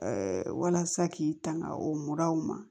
walasa k'i tanga o muraw ma